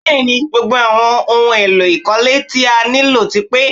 Bẹ́ẹ̀ni, gbogbo àwọn ohun èlò ìkọ́lé tí a nílò ti pé